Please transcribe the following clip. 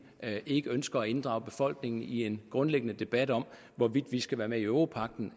ikke ønsker at inddrage befolkningen i en grundlæggende debat om hvorvidt vi skal være med i europagten